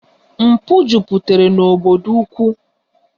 Mpụ jupụtara n'obodo ukwu